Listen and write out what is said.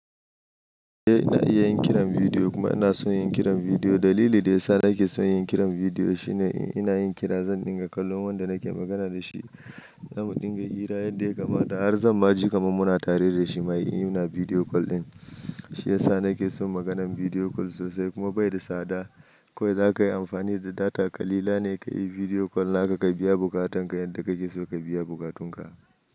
Eh ina iya yin kiran bidiyo kuma ina son yin kiran bidiyo. Dalili da ya sa nake son yin kiran bidiyo shine, in ina yin kira zan dinga kallon wanda nake magana da shi. Zamu dinga hira yadda ya kamata, har zan ma ji kamar muna tare da shi ma ina bidiyo kol din. Shi ya sa nake son maganan bidiyo kol sosai, kuma bai da tsada. Kowai za ka yi amfani da data kalila ne ka yi bidiyo kol naka, ka biya bukatanka yadda kake so ka biya bukatunka.